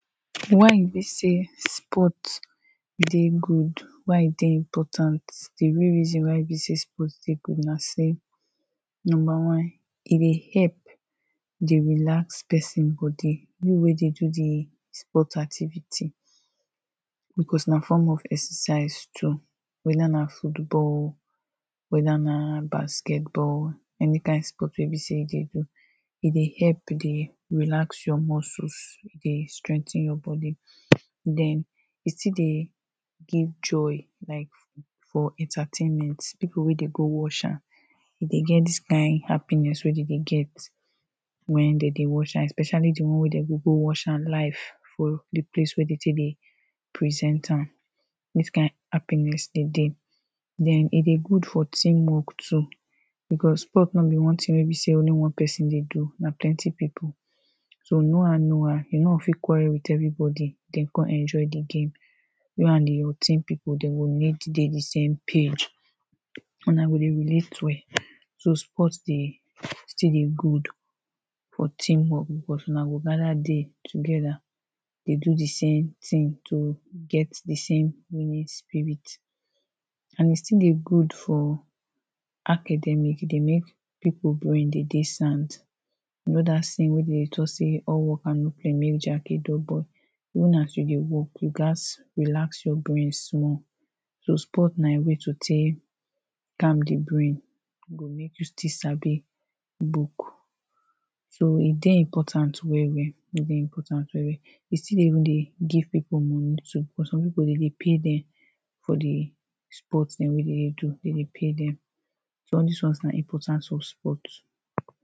why e be say sport de good why e de important de main reason why be say sport de good na say number one e de help de relax person boby, you wey de do de sport activity because na form of exercise too whether na football whether na basketball any kind sport wey be say you de do e de help de relax your muscle de strengthen your body den e still de give joy like for entertainment, people wey de go watsh am e de get dis kind happiness wey they de get when they de watch am especially the one wey they go go watch am life or the place wey de take de present am dis kind happiness de deh then e de good for team work too because sport no be one thing wey be say only one person de do na plenty people so, no how no how, you no go fit quarrel with everyboby then come enjoy the game you and your team people they go need be the same page una go de relate well so sport de still de good for team work, una go gather there together de do the same thing to get the same winning spirit and e still de good for academic, e de make people brain de de sound you know that saying wey they de talk say all work and no play make jack a dull boy even as you de work, you gats relax your brain small so sport na your way to take calm de brain go make you still sabi book so e de important well well e de important well well e still de even de give people money too for some people they de pay them for the sport them wey they de do they de pay them so all dis ones na importance of sport